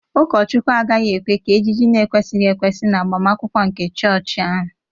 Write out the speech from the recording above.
Ụkọchukwu agaghị ekwe ka ejiji na-ekwesịghị ekwesị n'agbamakwụkwọ nke chọọchị ahụ